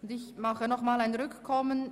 Ich beantrage daher Rückkommen.